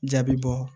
Jaabi bɔ